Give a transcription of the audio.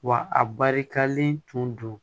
Wa a barikalen tun don